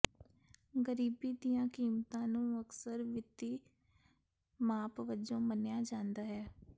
ਗਰੀਬੀ ਦੀਆਂ ਕੀਮਤਾਂ ਨੂੰ ਅਕਸਰ ਵਿੱਤੀ ਮਾਪ ਵਜੋਂ ਮੰਨਿਆ ਜਾਂਦਾ ਹੈ